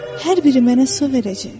Hər biri mənə su verəcək.